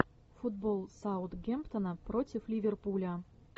футбол саутгемптона против ливерпуля